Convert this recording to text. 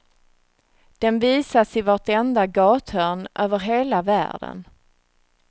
Den visas i vartenda gathörn över hela världen.